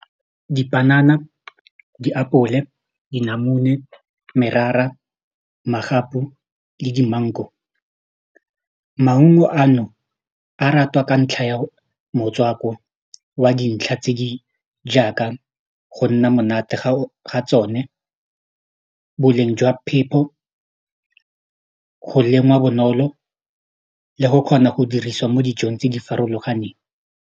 Dipanana, diapole, dinamune, merara, magapu le di-mango, maungo ano a ratwa ka ntlha ya motswako wa di ntlha tse di jaaka go nna monate ga tsone boleng jwa phepho go lengwa bonolo le go kgona go diriswa mo dijong tse di farologaneng.